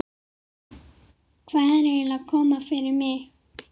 Hvað er eiginlega að koma fyrir mig?